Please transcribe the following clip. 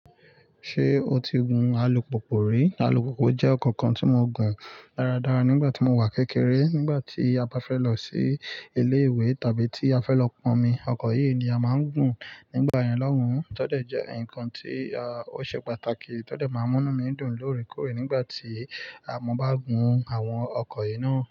Ṣé o ti gun alupupu rí? Alupupu jẹ́ ọ̀ko kan tí mo gùn dáradára nígbà tí mo wà kékeré. Nígbà tí a bá fẹ́ lọ sí ilé ìwé tabi tí a fẹ́ lọ pọnmi, ọkọ̀ yìí ni a máa ń gùn nígbà yẹn lọ́un. Tọ́dẹ́ jẹ́ nǹkan tí ó ṣe pàtàkì. Tọ́dẹ́ máa ń múnu mí dùn lóòrèkóòrè nígbà tí mo bá gùn àwọn ọkọ̀ yìí náà.